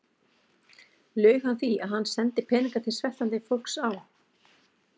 Laug hann því, að hann sendi peninga til sveltandi fólks á